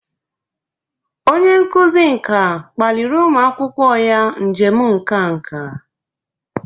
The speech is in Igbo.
Onye nkuzi nka kpaliri ụmụ akwụkwọ ya njem nka nka.